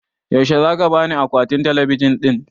Yaushe zaka bani akwatin talabijin ɗin?